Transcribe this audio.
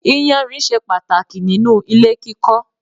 Ìyànrìn ṣe pàtàkì nínú ilé kíkọ́.